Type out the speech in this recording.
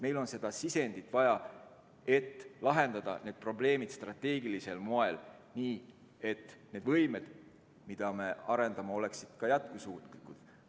Meil on seda sisendit vaja, et lahendada need probleemid strateegilisel moel, nii et need võimed, mida me arendame, oleksid jätkusuutlikud.